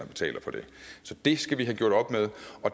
betaler for det så det skal vi have gjort op med